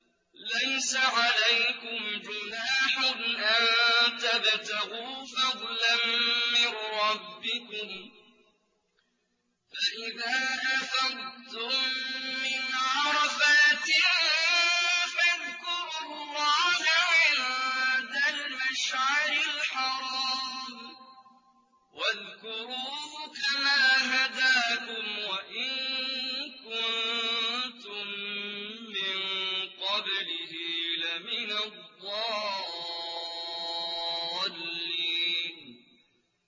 لَيْسَ عَلَيْكُمْ جُنَاحٌ أَن تَبْتَغُوا فَضْلًا مِّن رَّبِّكُمْ ۚ فَإِذَا أَفَضْتُم مِّنْ عَرَفَاتٍ فَاذْكُرُوا اللَّهَ عِندَ الْمَشْعَرِ الْحَرَامِ ۖ وَاذْكُرُوهُ كَمَا هَدَاكُمْ وَإِن كُنتُم مِّن قَبْلِهِ لَمِنَ الضَّالِّينَ